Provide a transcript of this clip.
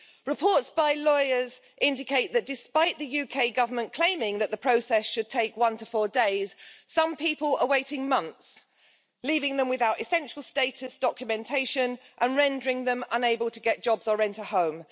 Reports by lawyers indicate that, despite the UK government claiming that the process should take one to four days, some people are waiting months, leaving them without essential status documentation and rendering them unable to get jobs or rent a home.